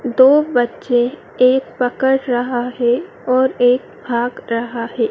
दो बच्चे एक पकड़ रहा है और एक भाग रहा है।